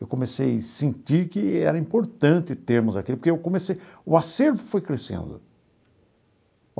Eu comecei sentir que era importante termos aquilo, porque eu comecei o acervo foi crescendo.